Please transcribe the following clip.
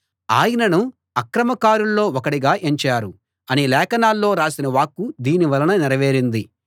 ఆయనను అక్రమకారుల్లో ఒకడిగా ఎంచారు అని లేఖనాల్లో రాసిన వాక్కు దీని వలన నెరవేరింది